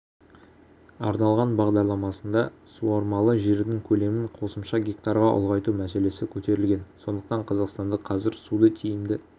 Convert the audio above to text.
арналған бағдарламасында суармалы жердің көлемін қосымша гектарға ұлғайту мәселесі көтерілген сондықтан қазақстанды қазір суды тиімді